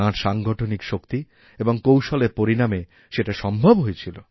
তাঁর সাংগঠনিক শক্তি এবং কৌশলের পরিণামে সেটা সম্ভব হয়েছিল